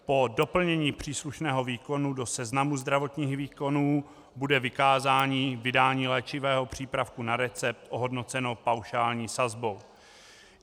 Po doplnění příslušného výkonu do seznamu zdravotních výkonů bude vykázání vydání léčivého přípravku na recept ohodnoceno paušální sazbou.